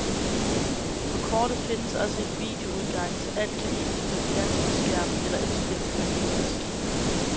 På kortet findes også en videoudgang, så alt kan vises på en fjernsynsskærm eller indspilles på en videomaskine.